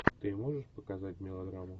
ты можешь показать мелодраму